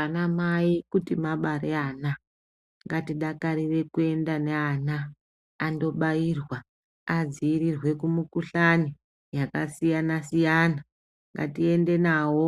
Anamai kuti mabare ana ngatidakarire kuende neana andobairwa adziirirwe kumukuhlani yakasiyana siyana ngatiende nawo